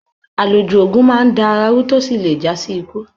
Aloju ogún máa n dá àrà ru tó sì lè jasi ikú.